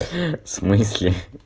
в смысле